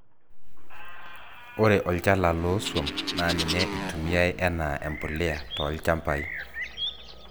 ore olchala loo swam naa ninye itumiai enaa empulia too ilchampai